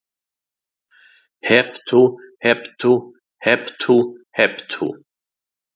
Hep tú, hep tú, hep tú, hep tú.